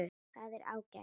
Það er ágætt.